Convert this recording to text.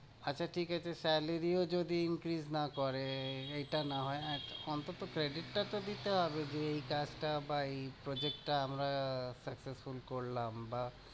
আচ্ছা ঠিক আছে salary ও যদি increse না করে, এইটা না হয় অন্তত credit টা তো দিতে হবে, যে এই কাজটা বা এই project টা আমরা successful করলাম বা